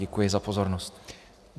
Děkuji za pozornost.